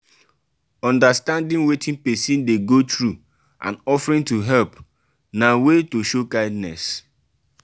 understanding wetin persin de go through and offering to help na way to show kindness